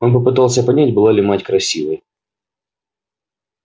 он попытался понять была ли мать красивой